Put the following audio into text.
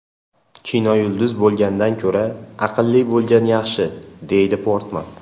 Kinoyulduz bo‘lgandan ko‘ra, aqlli bo‘lgan yaxshi”, deydi Portman.